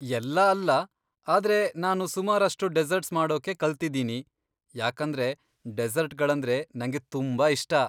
ಎಲ್ಲಾ ಅಲ್ಲ, ಆದ್ರೆ ನಾನು ಸುಮಾರಷ್ಟು ಡೆಸೆರ್ಟ್ಸ್ ಮಾಡೋಕೆ ಕಲ್ತಿದ್ದೀನಿ, ಯಾಕಂದ್ರೆ ಡೆಸೆರ್ಟ್ಗಳಂದ್ರೆ ನಂಗೆ ತುಂಬಾ ಇಷ್ಟ.